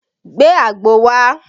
Gbe àgbo wá!